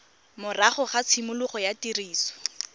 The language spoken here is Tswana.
morago ga tshimologo ya tiriso